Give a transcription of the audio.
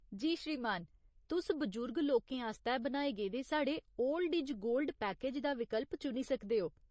जी श्रीमान। तुस बजुर्ग लोकें आस्तै बनाए गेदे साढ़े 'ओल्ड इज गोल्ड' पैकेज दा विकल्प चुनी सकदे ओ।